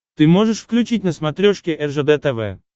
ты можешь включить на смотрешке ржд тв